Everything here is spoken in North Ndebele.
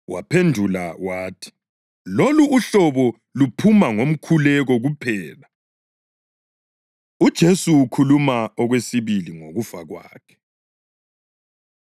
Waphendula wathi, “Lolu uhlobo luphuma ngomkhuleko kuphela.” UJesu Ukhuluma Okwesibili Ngokufa Kwakhe